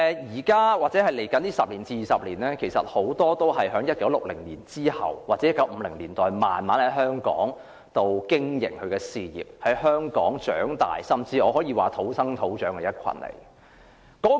現在或未來十多二十年的長者，很多是生於1960年或1950年代，在香港慢慢經營他們的事業，在香港長大，甚至可以說是土生土長的一群。